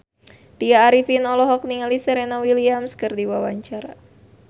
Tya Arifin olohok ningali Serena Williams keur diwawancara